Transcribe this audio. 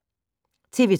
TV 2